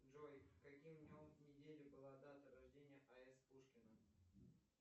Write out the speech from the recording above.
джой каким днем недели была дата рождения а с пушкина